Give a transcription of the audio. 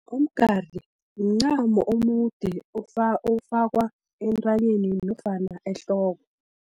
Umgari, mncamo omude ofakwa entranyeni nofana ehloko.